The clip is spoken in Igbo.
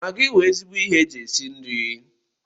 Magị wụ ezigbo ihe eji esi nri.